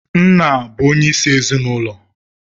Nna bụ onyeisi ezinụlọ.